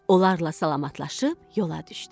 Onlarla salamlaşıb yola düşdü.